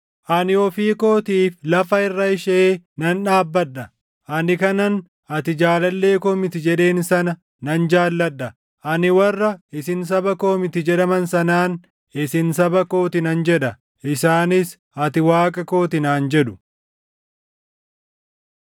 Ani ofii kootiif lafa irra ishee nan dhaabbadha; ani kanan, ‘Ati jaalallee koo miti’ jedheen sana nan jaalladha. Ani warra, ‘Isin saba koo miti’ jedhaman sanaan, ‘Isin saba koo ti’ nan jedha; isaanis, ‘Ati Waaqa koo ti’ naan jedhu.”